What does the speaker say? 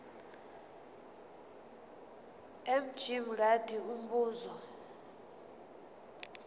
mj mngadi umbuzo